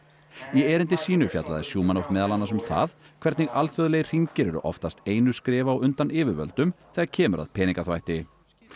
í erindi sínu fjallaði Shumanov meðal annars um það hvernig alþjóðlegir hringir eru oftast einu skrefi á undan yfirvöldum þegar kemur að peningaþvætti